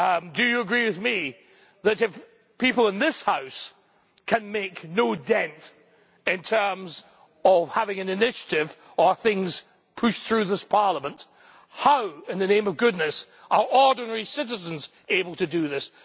Do you agree that, if people in this House can make no dent in terms of having an initiative or things pushed through this Parliament, how in the name of goodness are ordinary citizens able to do this?